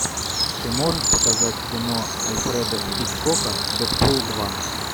ты можешь показать кино альфреда хичкока дэдпул два